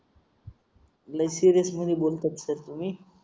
next syringe मध्ये बोलू शकता तुम्ही